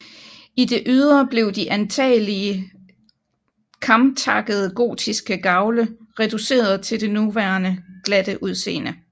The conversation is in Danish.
I det ydre blev de antagelig kamtakkede gotiske gavle reduceret til det nuværende glatte udseende